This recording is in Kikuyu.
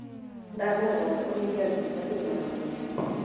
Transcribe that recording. Ndakũhoya uhinge ndirĩca kwĩ na rũhuho